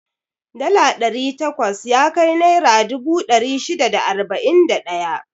Dala ɗari takwas yakai naira dubu ɗari shida da arba'in da ɗaya.